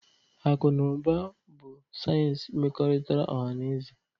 Akụ na ụba bụ sayensị mmekọrịta ọha na eze